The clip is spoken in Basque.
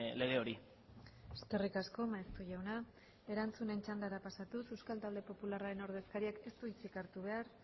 lege hori eskerrik asko maeztu jauna erantzunen txandara pasatuz euskal talde popularraren ordezkariak ez du hitzik hartu behar